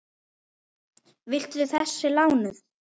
Viltu þessi lánuð?